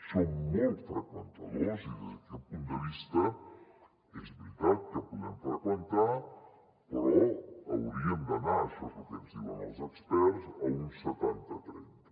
som molt freqüentadors i des d’aquest punt de vista és veritat que podem freqüentar però hauríem d’anar això és el que ens diuen els experts a un setanta trenta